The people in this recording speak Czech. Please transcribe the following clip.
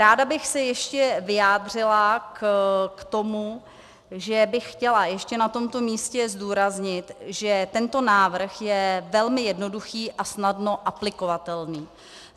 Ráda bych se ještě vyjádřila k tomu, že bych chtěla ještě na tomto místě zdůraznit, že tento návrh je velmi jednoduchý a snadno aplikovatelný.